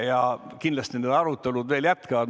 Ja kindlasti need arutelud jätkuvad.